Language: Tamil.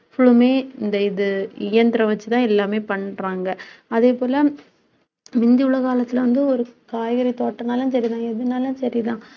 full லுமே இந்த இது இயந்திரம் வச்சுதான், எல்லாமே பண்றாங்க அதே போல முந்தி உள்ள காலத்தில வந்து ஒரு காய்கறி தோட்டம்னாலும் சரிதான் எதுனாலும் சரிதான்